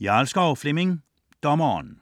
Jarlskov, Flemming: Dommeren